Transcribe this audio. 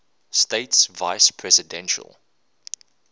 states vice presidential